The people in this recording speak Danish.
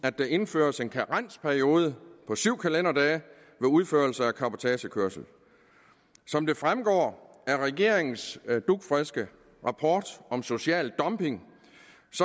at der indføres en karensperiode på syv kalenderdage ved udførelse af cabotagekørsel som det fremgår af regeringens dugfriske rapport om social dumping